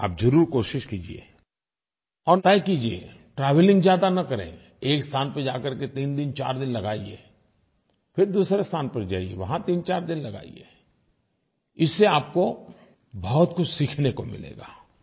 आप ज़रूर कोशिश कीजिये और तय कीजिये ट्रैवेलिंग ज्यादा न करें एक स्थान पर जाकर कर के तीन दिन चार दिन लगाइये फिर दूसरे स्थान पर जाइये वहाँ तीन दिन चार दिन लगाइये इससे आपको बहुत कुछ सीखने को मिलेगा